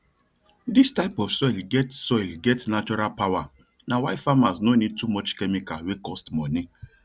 dis type of soil get soil get natural powerna why farmers no need too much chemical wey cost money